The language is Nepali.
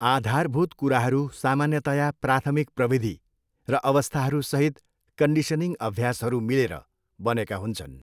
आधारभूत कुराहरू सामान्यतया प्राथमिक प्रविधि, र अवस्थाहरूसहित कन्डिसनिङ अभ्यासहरू मिलेर बनेका हुन्छन्।